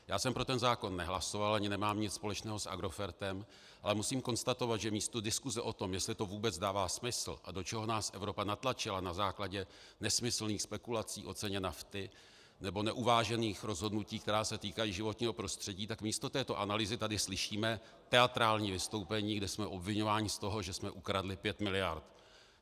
Já jsem pro ten zákon nehlasoval ani nemám nic společného s Agrofertem, ale musím konstatovat, že místo diskuse o tom, jestli to vůbec dává smysl a do čeho nás Evropa natlačila na základě nesmyslných spekulací o ceně nafty nebo neuvážených rozhodnutí, která se týkají životního prostředí, tak místo této analýzy tady slyšíme teatrální vystoupení, kde jsme obviňováni z toho, že jsme ukradli pět miliard.